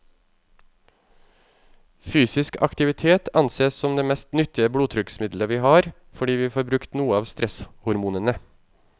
Fysisk aktivitet ansees som det mest nyttige blodtrykksmiddelet vi har, fordi vi får brukt noe av stresshormonene.